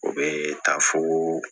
O bɛ taa foo